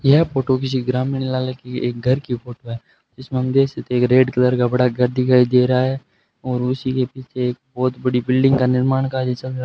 यह फोटो किसी ग्रामीण लाले की एक घर की फोटो है जिसमें हम देख सकते है एक रेड कलर का बड़ा घर दिखाई दे रहा है और उसी के पीछे एक बहुत बड़ी बिल्डिंग का निर्माण कार्य समझा--